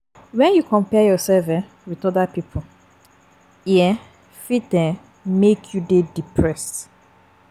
When you compare yourself um with oda pipo e um fit um make you dey depressed